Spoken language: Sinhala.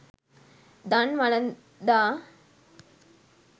දන් වළඳා